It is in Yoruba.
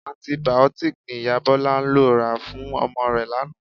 Antibiotics ni Ìyá Bọlá lọ rà fún ọmọ rẹ̀ lánàá